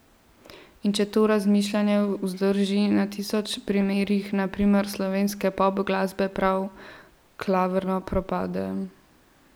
In če to razmišljanje vzdrži na tisoč primerih, na primeru slovenske pop glasbe prav klavrno propade.